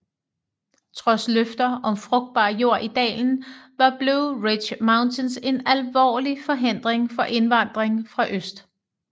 Trods løfter om frugtbar jord i dalen var Blue Ridge Mountains en alvorlig forhindring for indvandring fra øst